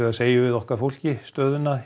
segjum við okkar fólki stöðuna